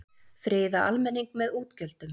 Friða almenning með útgjöldum